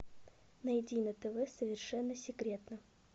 найди на тв совершенно секретно